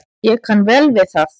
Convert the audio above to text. Ég kann vel við það.